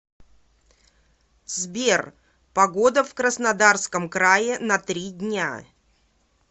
сбер погода в краснодарском крае на три дня